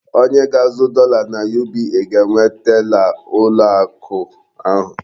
Onye ga-azụ dọla na UBA ga-enwe tela ụlọ akụ ahụ.